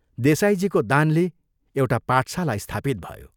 देसाईजीको दानले एउटा पाठशाला स्थापित भयो।